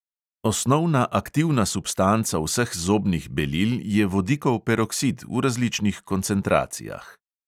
Osnovna aktivna substanca vseh zobnih belil je vodikov peroksid v različnih koncentracijah.